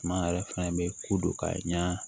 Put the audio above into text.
Suma yɛrɛ fana bɛ ko dɔ ka ɲa